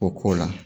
O k'o la